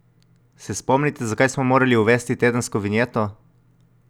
Se spomnite, zakaj smo morali uvesti tedensko vinjeto?